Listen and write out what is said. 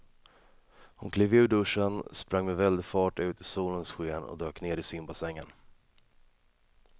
Hon klev ur duschen, sprang med väldig fart ut i solens sken och dök ner i simbassängen.